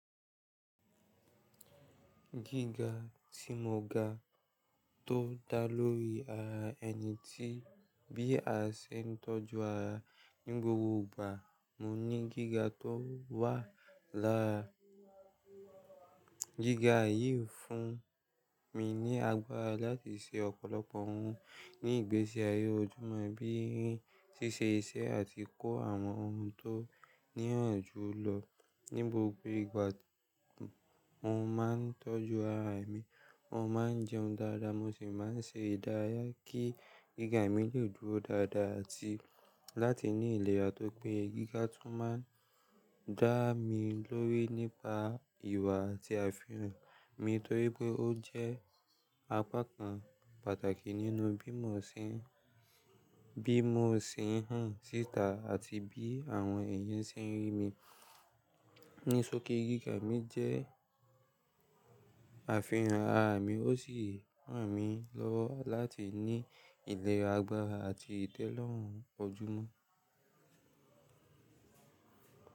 Gíga tí mo ga tó dá lórí ara ẹni tí bí a ṣe ń tọ́jú ara ní gbogbo ìgbà. Mo ní gíga tó wà lára gíga yìí fún mi ní agbára láti ṣe ọ̀pọ̀lọpọ̀ ohun ní ìgbésí ayé ojúmọ́ bí i ṣíṣe iṣẹ́ àti kó àwọn ohun tó níyànjú lọ. Ní gbogbo ìgbà mo máa ń tọ́jú ara mi, mo máa ń jẹun dáadáa, mo sì máa ń ṣe ìdárayá kí gíga mi lè dúró dáadáa àti láti ní ìlera. Tó pé gíga tún máa ń dá mi lórí nípa ìwà àti àfihàn mi torí pé ó jẹ́ apákan pàtàkì nínú bí mo ṣe ń síta àti bí àwọn èèyàn ṣe ń rí mi. Ní sọki gíga mi jẹ́ àfihàn ara mi, ó sì ran mi lọ́wọ́ láti ní ìlera, agbára àti ìdẹ́lorùn ojúmọ́.